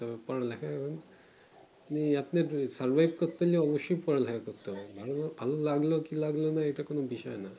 পড়ালেখা নেই আপনাকে survive করতে গেলে অবশই পড়া লেখা করতে হবে ভালো লাগলো কি লাগলো না এইটা কোনো বিষয় না